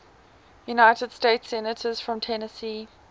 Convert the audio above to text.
united states senators from tennessee